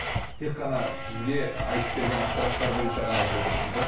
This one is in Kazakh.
тек қана сізге айтып берген ақпараттар бойынша ғана айтып отырсыз ба